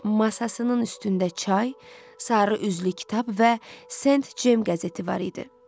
Masasının üstündə çay, sarı üzlü kitab və Saint Cem qəzeti var idi.